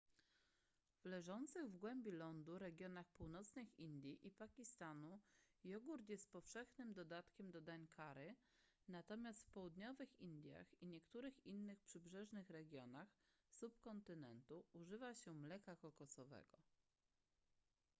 w leżących w głębi lądu regionach północnych indii i pakistanu jogurt jest powszechnym dodatkiem do dań curry natomiast w południowych indiach i niektórych innych przybrzeżnych regionach subkontynentu używa się mleka kokosowego